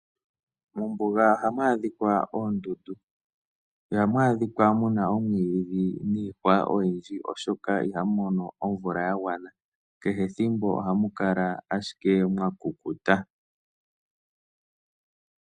Mombuga ohamu adhika oondundu. Ihamu adhika muna omwiidhi niihwa oyindji oshoka iha mono omvula yagwana. Kehe ethimbo ohamu kala ashike mwa kukuta.